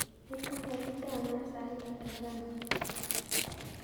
Itu karit ab maat sait ata raini